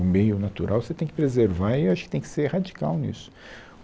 O meio natural você tem que preservar, e eu acho que tem que ser radical nisso.